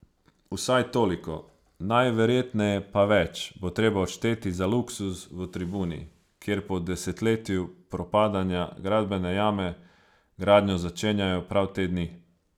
Vsaj toliko, najverjetneje pa več, bo treba odšteti za luksuz v Tribuni, kjer po desetletju propadanja gradbene jame, gradnjo začenjajo prav te dni.